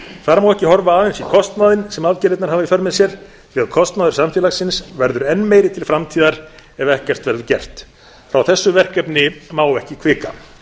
þar má ekki horfa aðeins í kostnaðinn sem aðgerðirnar hafa í för með sér því að kostnaður samfélagsins verður enn meiri til framtíðar ef ekkert verður gert frá þessu verkefni má ekki hvika